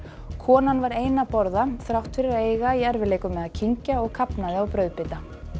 konan var ein að borða þrátt fyrir að eiga í erfiðleikum með að kyngja og kafnaði á brauðbita